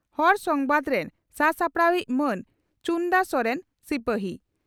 ᱦᱚᱲ ᱥᱚᱢᱵᱟᱫᱽ ᱨᱮᱱ ᱥᱟᱼᱥᱟᱯᱲᱟᱣᱤᱡ ᱢᱟᱱ ᱪᱩᱬᱫᱟᱹ ᱥᱚᱨᱮᱱ 'ᱥᱤᱯᱟᱹᱦᱤ'